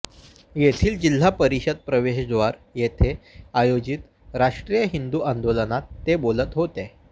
येथील जिल्हा परिषद प्रवेशद्वार येथे आयोजित राष्ट्रीय हिंदू आंदोलनात ते बोलत होते